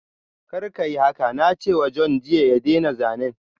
Kar kayi haka! na ce wa John jiya ya daina zanen.